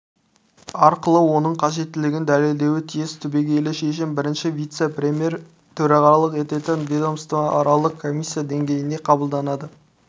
арқылы оның қажеттілігін дәлелдеуі тиіс түбегейлі шешім бірінші вице-премьер төрағалық ететін ведомствоаралық комиссия деңгейінде қабылданады